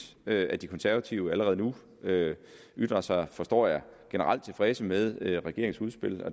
at de konservative allerede nu ytrer sig forstår jeg generelt tilfredse med regeringens udspil